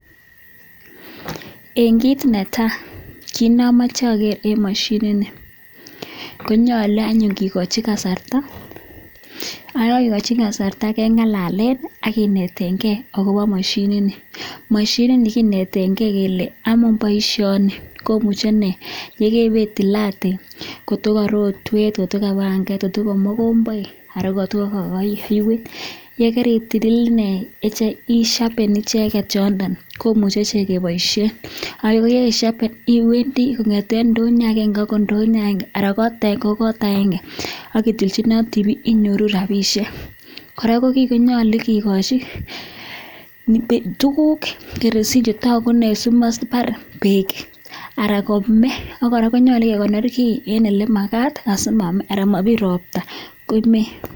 En kit netai en kit neamache ager en mashinit konyalu anyun kikochi kasarta akiyekagekochi kasarta kengololchi agenetenbgei akobo mashinit ni kenetengei Kole amun baishoni komuche inei iweitilate kotokarorwet kotokabanget kotokarorwet anan ko mogombaik yegaritil inei ishapen icheket yoton komuche ichek kebaishen akoyekaishapen iwendii kongeten indonyo agenge agoi indonyo age anan ko kot agenge ketlinjinate bik inyoru rabinik koraa ko gii konyalu kekochi tuguk chetagu inei tos mabar bek anan kome konyalu kekonor gii en olenyalu konmakat simame anan kobir robta.